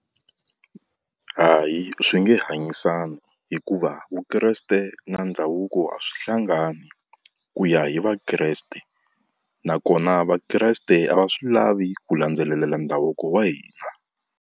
Hayi swi nge hanyisana hikuva Vukreste na ndhavuko, a swi hlangani ku ya hi Vakreste nakona Vakreste a va swi lavi ku landzelela ndhavuko wa hina.